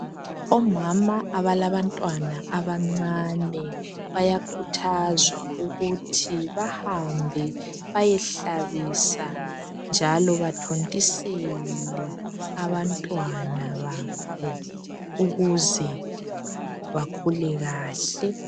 Omama abalabantwana abancane bayakhuthazwa ukuthi bahambe bayehlabisa njalo bathontisele abantwana babo ukuze bakhule kahle.